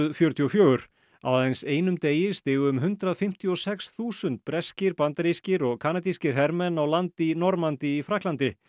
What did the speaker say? fjörutíu og fjögur á aðeins einum degi stigu um hundrað fimmtíu og sex þúsund breskir bandarískir og kanadískir hermenn á land í Normandí í Frakklandi